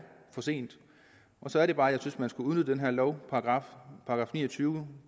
for sent så er det bare jeg synes man skulle udvide den her lovparagraf § ni og tyve